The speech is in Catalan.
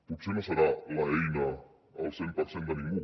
potser no serà l’eina al cent per cent de ningú